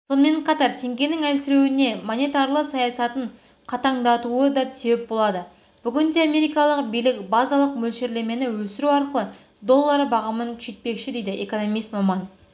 сонымен қатар теңгенің әлсіреуіне монетарлы саясатын қатаңдатуы да себеп болады бүгінде америкалық билік базалық мөлшерлемені өсіру арқылы доллар бағамын күшейтпекші дейді экономист-маман